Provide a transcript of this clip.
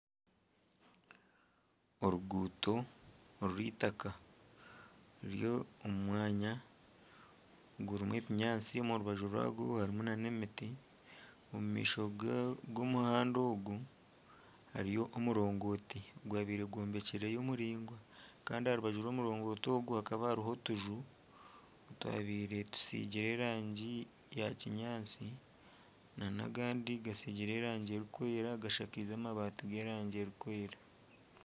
Oruguuto orw'eitaka ruri omu mwanya gurimu ebinyaatsi, omu rubaju rwagwo harimu nana emiti, omu maisho g'omuhanda ogu hariyo omurongooti ogwabaire gw'ombekireyo muraingwa kandi aha rubaju rw'omurongoti ogu hakaba hariyo otuju otwabaire tusigire erangi ya kinyaatsi nana agandi gatsigire erangi erikwera gashakaize amabaati g'erangi erikwera.